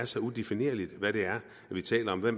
så udefinerligt hvad vi taler om hvad